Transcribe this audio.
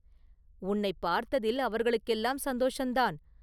“உன்னைப் பார்த்ததில் அவர்களுக்கெல்லாம் சந்தோஷந்தான்.